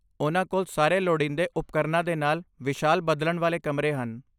ਉਹਨਾਂ ਕੋਲ ਸਾਰੇ ਲੋੜੀਂਦੇ ਉਪਕਰਨਾਂ ਦੇ ਨਾਲ ਵਿਸ਼ਾਲ ਬਦਲਣ ਵਾਲੇ ਕਮਰੇ ਹਨ।